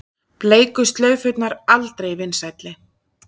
Bleiku slaufurnar aldrei vinsælli